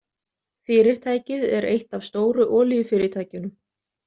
Fyrirtækið er eitt af stóru olíufyrirtækjunum.